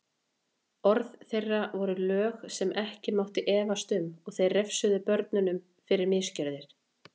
Orð þeirra voru lög sem ekki mátti efast um og þeir refsuðu börnunum fyrir misgjörðir.